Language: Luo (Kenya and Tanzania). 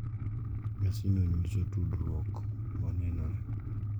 Nyasino nyiso tudruok ma nenore,